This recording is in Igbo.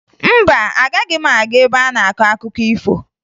Mba, agaghị m aga ebe a na-akọ akụkọ ifo